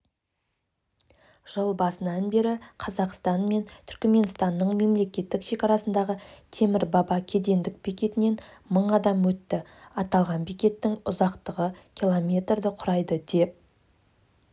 жыл басынан бері қазақстан мен түркіменстанның мемлекеттік шекарасындағы темір баба кедендік бекетінен мың адам өтті аталған бекеттің ұзақтығы километрді құрайды деп